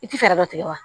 I tɛ fɛɛrɛ dɔ tigɛ wa